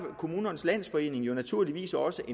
kommunernes landsforening jo naturligvis også